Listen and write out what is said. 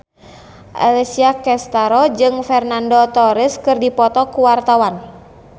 Alessia Cestaro jeung Fernando Torres keur dipoto ku wartawan